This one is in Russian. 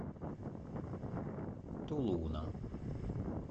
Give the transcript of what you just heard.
тулуна